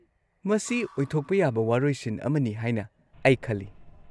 ꯃꯁꯤ ꯑꯣꯏꯊꯣꯛꯄ ꯌꯥꯕ ꯋꯥꯔꯣꯏꯁꯤꯟ ꯑꯃꯅꯤ ꯍꯥꯏꯅ ꯑꯩ ꯈꯜꯂꯤ꯫